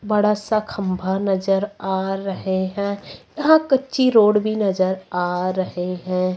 बड़ा सा खंभा नजर आ रहे हैं यहां कच्ची रोड भी नजर आ रहे हैं।